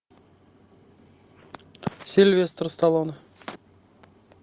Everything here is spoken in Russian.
сильвестр сталлоне